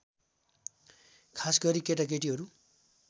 खासगरी केटाकेटीहरू